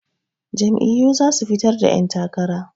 Jam'iyyu za su fitar da 'yantakara.